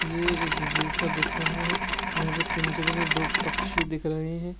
यह एक जू सा दिख रहा है जहां पर पिंजरे में दो पक्षी दिख रहे हैं।